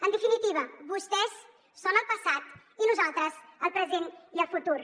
en definitiva vostès són el passat i nosaltres el present i el futur